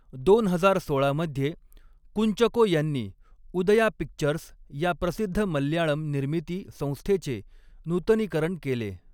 दोन हजार सोळा मध्ये कुंचको यांनी उदया पिक्चर्स या प्रसिद्ध मल्याळम निर्मिती संस्थेचे नूतनीकरण केले.